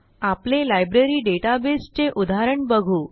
आपले लायब्ररी databaseचे उदाहरण बघू